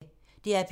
DR P2